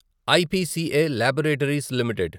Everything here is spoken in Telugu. IPCA laboratories limited